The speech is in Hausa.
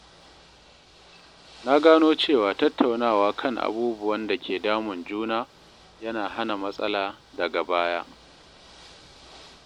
Na gano cewa tattaunawa kan abubuwan da ke damun juna yana hana matsala daga baya.